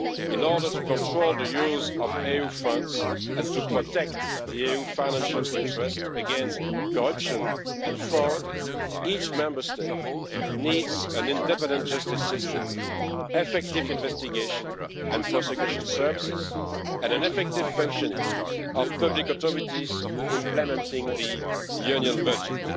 In order to control the use of EU funds and to protect the EU's financial interests against corruption and fraud, each Member State needs an independent justice system, effective investigation and prosecution services, and an effective functioning of public authorities implementing the Union budget.